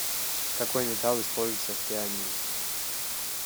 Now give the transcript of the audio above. какой металл используется в пианино